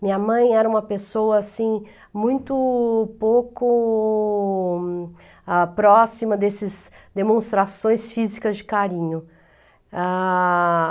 Minha mãe era uma pessoa assim muito pouco, ah, próxima dessas demonstrações físicas de carinho. Ah...